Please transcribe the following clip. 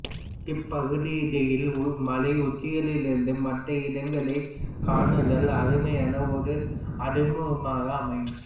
இப்பகுதிடயில் மலைஉச்சிகளில் இருந்து மற்ற இடங்களை காணுதல் அருமையான ஒரு அனுபவமாக அமையும்